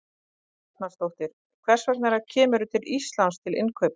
Helga Arnardóttir: Hvers vegna kemurðu til Íslands til innkaupa?